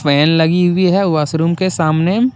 लगी हुई है वास रूम के सामने।